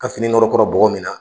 ka fini nɔrɔkɔra bɔgɔ min na